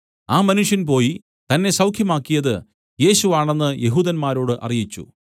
ആ മനുഷ്യൻ പോയി തന്നെ സൌഖ്യമാക്കിയത് യേശു ആണെന്ന് യെഹൂദന്മാരോട് അറിയിച്ചു